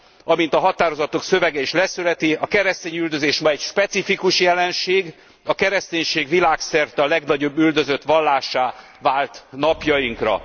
Amint a határozatok szövege is leszögezi a keresztényüldözés ma egy specifikus jelenség, a kereszténység világszerte a legnagyobb üldözött vallássá vált napjainkra.